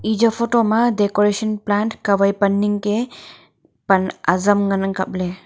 eje photo ma decoration plant kawai pan Ning ka azam ngan ang kaple.